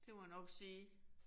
Det må jeg nok sige